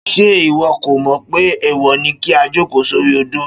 Ṣé ìwọ kò mò pé èèwò ní kí a jòkó sori odó